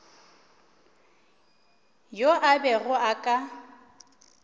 yo a bego a ka